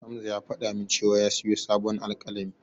Hamza ya faɗa min cewa ya siyo sabon alƙalami.